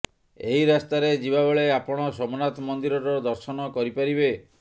ଏହି ରାସ୍ତାରେ ଯିବା ବେଳେ ଆପଣ ସୋମନାଥ ମନ୍ଦିରର ଦର୍ଶନ କରିପାରିବେ